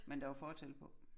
Men der var fortelt på?